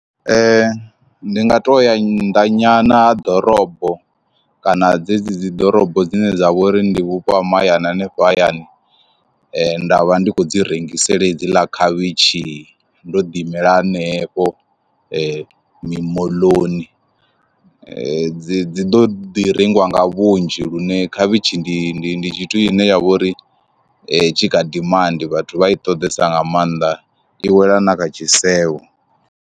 Ndi nga to ya nnḓa nyana ha ḓorobo kana dzedzi dzi ḓorobo dzine dza vha uri ndi vhupo ha mahayani hanefho hayani nda vha ndi khou dzi rengisela hedziḽa khavhishi ndo ḓi imela hanefho , mimoḽoni dzi dzi dzi ḓo ḓi rengiwa nga vhunzhi lune khavhishi ndi ndi ndi tshithu i ne ya vha uri tshi kha dimandi vhathu vha i ṱoḓesa nga maanda i wela na kha tshisevho.